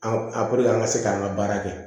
A an ka se k'an ka baara kɛ